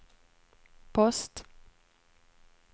post